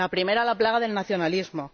La primera, la plaga del nacionalismo